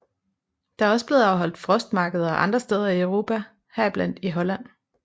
Der er også blevet afholdt frostmarkeder andre steder i Europa heriblandt i Holland